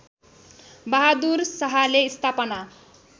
बहादुर शाहले स्थापना